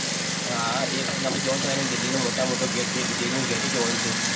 હા એ પણ આપણે જોવાનું છે અને દિલ્હીનો મોટામાં મોટો gate છે એ દિલ્હીનો gate પણ જોવાનો છે.